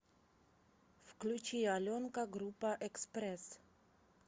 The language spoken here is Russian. включи аленка группа экспресс